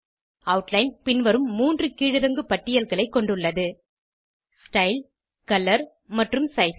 outline பின்வரும் 3 கீழிறங்கு பட்டியல்களை கொண்டுள்ளது ஸ்டைல் கலர் மற்றும் சைஸ்